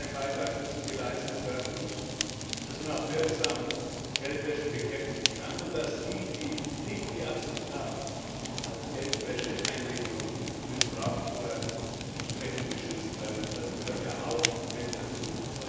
Nur so kann ein Beitrag dazu geleistet werden, dass man Geldwäsche auch wirksam bekämpfen kann und dass diejenigen, die nicht die Absicht haben, als Geldwäscheeinrichtung missbraucht zu werden, entsprechend geschützt werden. Das gehört ja auch mit dazu.